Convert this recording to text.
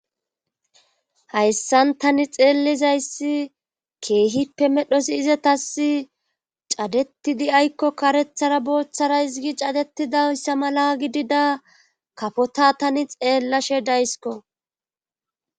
hayssan tani xeellizayssi keehippe medhosi izatasi cadetidis mala gidida karethara booththara hizigi cadetidossa mala gidida kafota tani xeellashe daysko